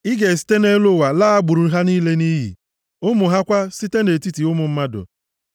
Ị ga-esite nʼelu ụwa laa agbụrụ ha niile nʼiyi, ụmụ ha kwa site, nʼetiti ụmụ mmadụ.